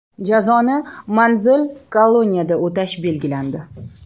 Jazoni manzil-koloniyada o‘tash belgilandi.